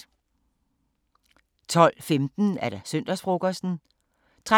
12:15: Søndagsfrokosten 13:03: